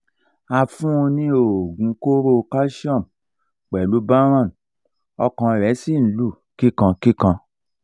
a fún un ní oògùn kóró calcium pelu baron ọkàn rẹ̀ sì ń lù kíkan kíkan